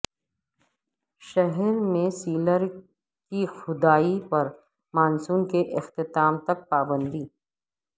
شہر میں سیلر کی کھدوائی پر مانسون کے اختتام تک پابندی